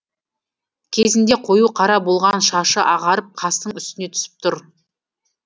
кезінде қою қара болған шашы ағарып қастың үстіне түсіп тұр